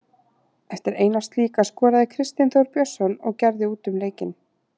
Eftir eina slíka skoraði Kristinn Þór Björnsson og gerði út um leikinn.